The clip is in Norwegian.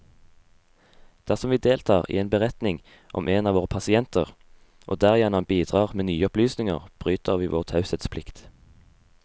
Dersom vi deltar i en beretning om en av våre pasienter, og derigjennom bidrar med nye opplysninger, bryter vi vår taushetsplikt.